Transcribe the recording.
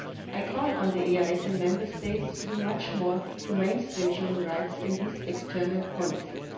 I call on the EEAS and Member States to do much more to mainstream human rights in these external polices.